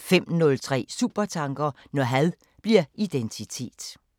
05:03: Supertanker: Når had bliver identitet